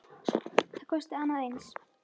Það kosti annað eins.